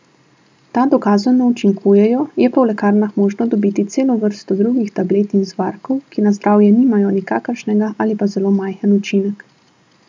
Ta dokazano učinkujejo, je pa v lekarnah možno dobiti celo vrsto drugih tablet in zvarkov, ki na zdravje nimajo nikakršnega ali pa zelo majhen učinek.